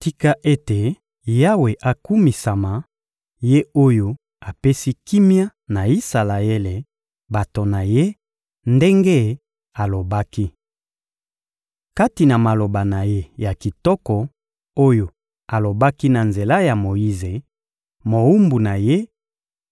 «Tika ete Yawe akumisama, Ye oyo apesi kimia na Isalaele, bato na Ye, ndenge alobaki. Kati na maloba na Ye ya kitoko, oyo alobaki na nzela ya Moyize, mowumbu na Ye,